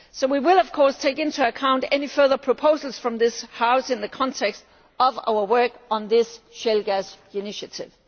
So we will, of course, take into account any further proposals from this House in the context of our work on this shale gas initiative.